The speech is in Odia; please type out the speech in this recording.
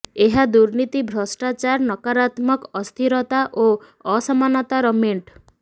ଏହା ଦୁର୍ନୀତି ଭ୍ରଷ୍ଟାଚାର ନକାରାତ୍ମକ ଅସ୍ଥିରତା ଓ ଅସମାନତାର ମେଣ୍ଟ